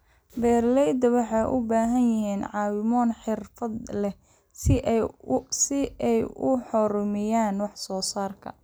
Beeralayda waxay u baahan yihiin caawimo xirfad leh si ay u horumariyaan wax soo saarka.